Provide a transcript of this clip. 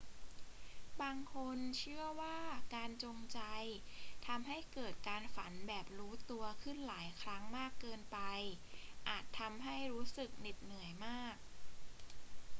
บางคนเชื่อว่าการจงใจทำให้เกิดการฝันแบบรู้ตัวขึ้นหลายครั้งมากเกินไปอาจทำให้รู้สึกเหน็ดเหนื่อยมาก